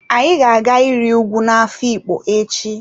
Anyi ga-aga iri ùgwù na afikpo echi.